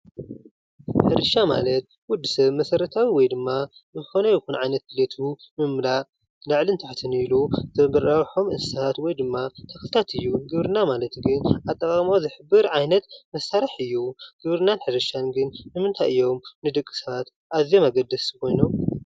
ሕርሻ ማለት ወዲሰብ መሰረታዊ ወይ ድማ ዝኮነ ይኩን ዓይነት ድልየቱ ንምምላእ ላዕልን ታሕትን ኢሉ ዘራብሖም እንስሳ ወይ ድማ ተክልታት እዩ፡፡ ግብርና ማለት ግን ኣጠቃቅማ ዓይነት መሳርሒ እዩ፡፡ ግብርናን ሕርሻን ግን ንምንታይ እዮም ኣዝዮም ኣገደስቲ ኮይኖም?